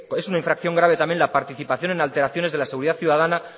es una infracción grave también la participación el alteraciones de la seguridad ciudadana